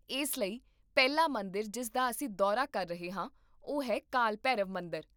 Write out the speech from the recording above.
ਇਸ ਲਈ ਪਹਿਲਾ ਮੰਦਿਰ ਜਿਸ ਦਾ ਅਸੀਂ ਦੌਰਾ ਕਰ ਰਹੇ ਹਾਂ ਉਹ ਹੈ ਕਾਲ ਭੈਰਵ ਮੰਦਰ